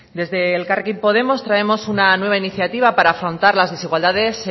desde elkarrekin podemos traemos una nueva iniciativa para afrontar las desigualdades